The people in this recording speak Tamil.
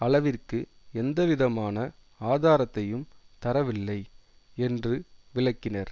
அளவிற்கு எந்தவிதமான ஆதாரத்தையும் தரவில்லை என்று விளக்கினர்